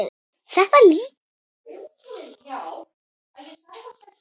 Þetta lýsir ykkur kannski best.